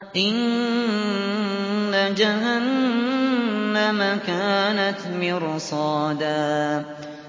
إِنَّ جَهَنَّمَ كَانَتْ مِرْصَادًا